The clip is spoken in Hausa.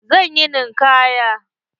Zan yi ninkaya.